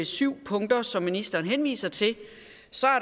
syv punkter som ministeren henviser til